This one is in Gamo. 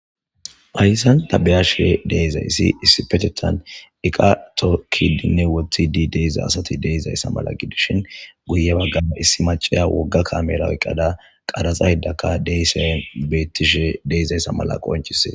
phayssan tabiya she deezayssi issi petetan iqato kidinne woththi di deeza asati deizayssa mala gidishin guye baggana issi macaya wogga kamera oyqqada qaraxa hidakka deysan bettishe deezayssa mala qoncise